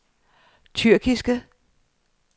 tyrkiske